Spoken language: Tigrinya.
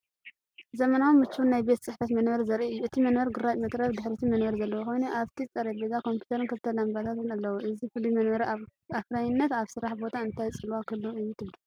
ዘመናውን ምቹውን ናይ ቤት ጽሕፈት መንበር ዘርኢ እዩ። እቲ መንበር ግራጭ መትረብ ድሕሪትን መንበርን ዘለዎ ኮይኑ፡ ኣብቲ ጠረጴዛ ኮምፒተርን ክልተ ላምባታትን ኣለዉ። እዚ ፍሉይ መንበር ኣብ ኣፍራይነት ኣብ ስራሕ ቦታ እንታይ ጽልዋ ክህልዎ እዩ ትብሉ?